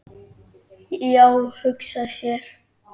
Já, hugsa sér!